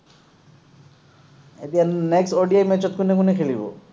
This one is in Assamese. এতিয়া next ODI match ত কোনে কোনে খেলিব?